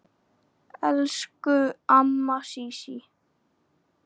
Elsku amma Sísí.